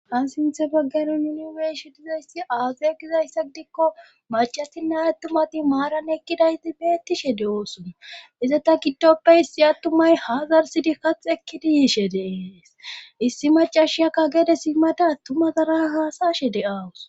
Ha sinthe baggano niniweeshi dizayssi aage gizayssa gidikko macatinnay attumati maaran ekkidayti beettishe de7oosona iza ta giddoppe issi attumay hazarsidi kax ekkidi yiishe deees issi macashiyakka geede simmada attumazara haasashe de'awus.